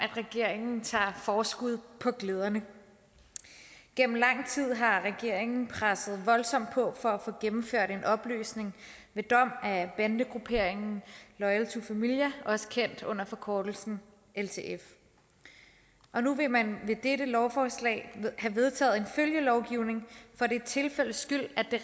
regeringen tager forskud på glæderne gennem lang tid har regeringen presset voldsomt på for at få gennemført en opløsning ved dom af bandegrupperingen loyal to familia også kendt under forkortelsen ltf og nu vil man med dette lovforslag have vedtaget en følgelovgivning for det tilfældes skyld at det